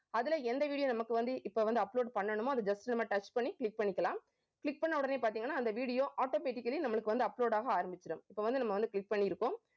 அதுல எந்த video நமக்கு வந்து இப்ப வந்து upload பண்ணணுமோ அதை just நம்ம touch பண்ணி click பண்ணிக்கலாம். click பண்ண உடனே பார்த்தீங்கன்னா, அந்த video automatically நம்மளுக்கு வந்து upload ஆக ஆரம்பிச்சிடும். இப்ப வந்து நம்ம வந்து click பண்ணிருக்கோம்